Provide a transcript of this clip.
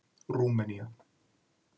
Rúmenía